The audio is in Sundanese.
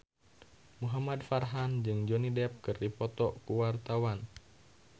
Muhamad Farhan jeung Johnny Depp keur dipoto ku wartawan